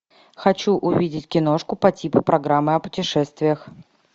хочу увидеть киношку по типу программы о путешествиях